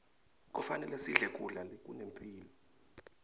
kufanele sidle kudla lokunemphilo